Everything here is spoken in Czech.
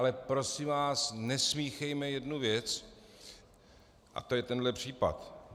Ale prosím vás, nesmíchejme jednu věc, a to je tenhle případ.